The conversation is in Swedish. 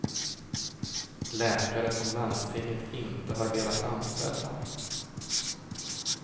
Läkare som landstinget inte har velat anställa.